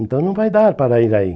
Então não vai dar para ir aí.